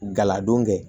Galadon kɛ